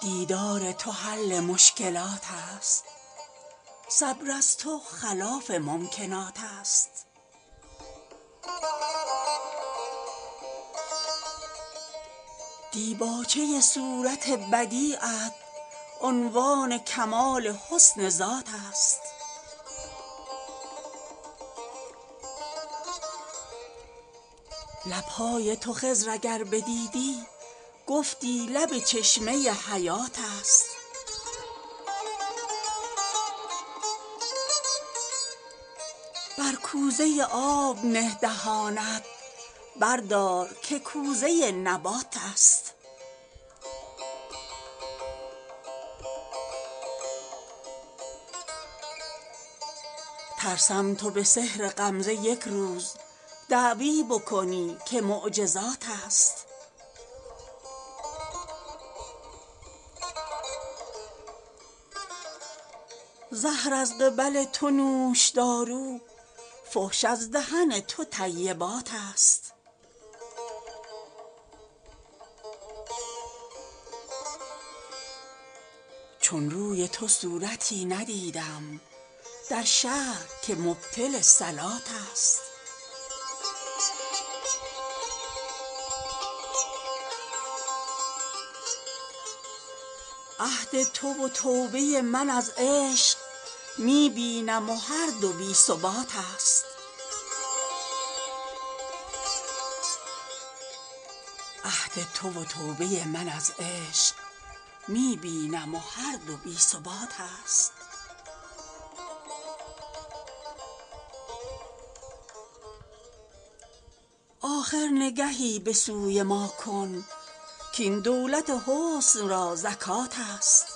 دیدار تو حل مشکلات است صبر از تو خلاف ممکنات است دیباچه صورت بدیعت عنوان کمال حسن ذات است لب های تو خضر اگر بدیدی گفتی لب چشمه حیات است بر کوزه آب نه دهانت بردار که کوزه نبات است ترسم تو به سحر غمزه یک روز دعوی بکنی که معجزات است زهر از قبل تو نوشدارو فحش از دهن تو طیبات است چون روی تو صورتی ندیدم در شهر که مبطل صلات است عهد تو و توبه من از عشق می بینم و هر دو بی ثبات است آخر نگهی به سوی ما کن کاین دولت حسن را زکات است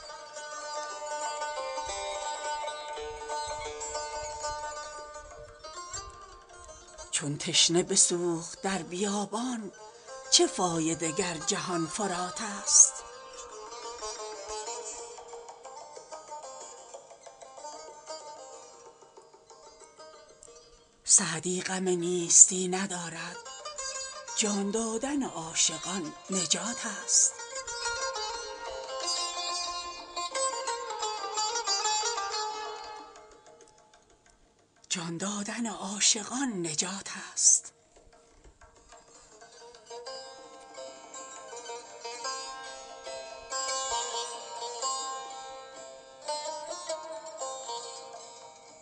چون تشنه بسوخت در بیابان چه فایده گر جهان فرات است سعدی غم نیستی ندارد جان دادن عاشقان نجات است